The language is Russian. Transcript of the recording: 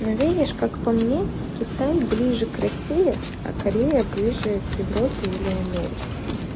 ну видишь как по мне китай ближе к россии а корея ближе к европе или америке